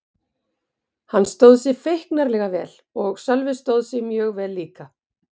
Hann stóð sig feiknarlega vel og Sölvi stóð sig mjög vel líka.